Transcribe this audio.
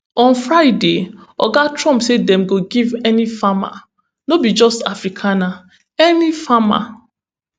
on friday oga trump say dem go give any farmer no be just afrikaner any farmer